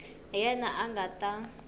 hi yena a nga ta